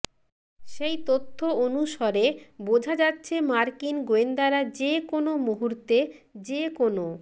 সেই তথ্য অনুসরে বোঝা যাচ্ছে মার্কিন গোয়েন্দারা যে কোনও মুহূর্তে যে কোনও